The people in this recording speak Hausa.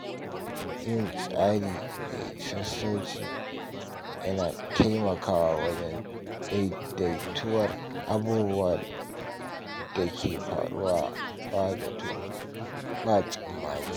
Yin tsari mai sassauci yana taimakawa wajen daidatuwar abubuwan da ke faruwa ba zato ba tsammani.